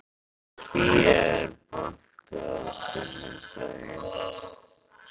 Kía, er bolti á sunnudaginn?